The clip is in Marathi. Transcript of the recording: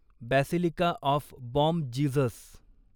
basilica of Bom Jesus